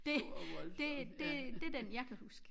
Det det det det den jeg kan husk